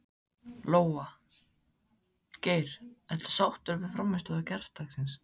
Lóa: Geir, ertu sáttur við frammistöðu gærdagsins?